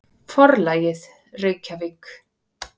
Forlagið: Reykjavík.